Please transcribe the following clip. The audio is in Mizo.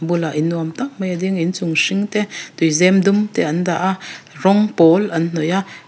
a bulah in nuam tak mai a ding a inchung hring te tuizem dum te an dah a rawng pawl an hnawih a.